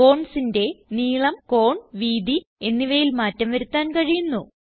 bondsന്റെ നീളം കോൺ വീതി എന്നിവയിൽ മാറ്റം വരുത്താൻ കഴിയുന്നു